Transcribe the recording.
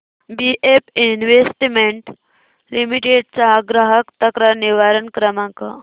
BF investment limited चा ग्राहक तक्रार निवारण क्रमांक